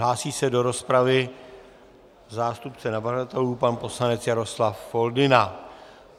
Hlásí se do rozpravy zástupce navrhovatelů pan poslanec Jaroslav Foldyna.